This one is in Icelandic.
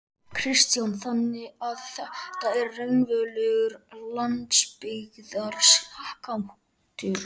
Kristján: Þannig að þetta er raunverulegur landsbyggðarskattur?